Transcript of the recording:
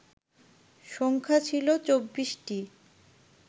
সংখ্যা ছিল ২৪টি